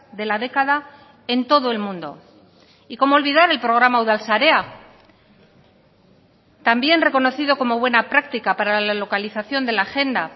de la década en todo el mundo y cómo olvidar el programa udal sarea también reconocido como buena práctica para la localización de la agenda